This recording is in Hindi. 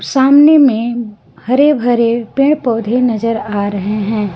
सामने में हरे भरे पेड़ पौधे नजर आ रहे है।